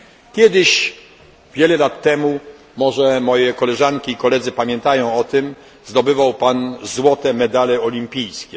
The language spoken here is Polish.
Kiedyś, wiele lat temu, może moje koleżanki i koledzy pamiętają o tym, zdobywał Pan złote medale olimpijskie.